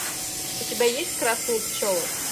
у тебя есть красные пчелы